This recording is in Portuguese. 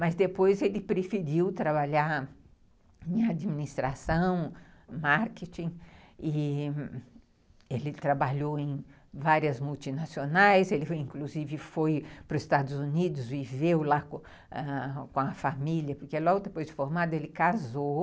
Mas depois ele preferiu trabalhar em administração, marketing, e ele trabalhou em várias multinacionais, ele inclusive foi para os Estados Unidos e viveu lá com a família, porque logo depois de formado ele casou,